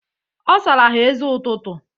Ọ sara ha eze ụtụtụ.